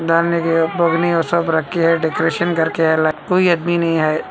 सब डेकोरेशीन करके राखा हुअ है कोई आदमी नाही आया--